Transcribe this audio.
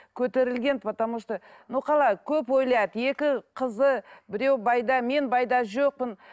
көтерілген потому что ну қалай көп ойлайды екі қызы біреуі байда мен байда жоқпын